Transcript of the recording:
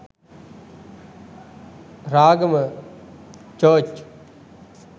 ragama church